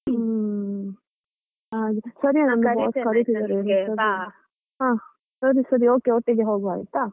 ಹುಮ್ಮ್, ಸರಿ boss ಕರೀತಿದ್ದಾರೆ ಹಾ ಸರಿ ಸರಿ okay okay ಒಟ್ಟಿಗೆ ಹೋಗುವ ಆಯ್ತಾ.